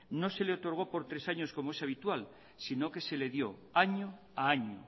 no se le otorgó por tres años como es habitual sino que se le dio año a año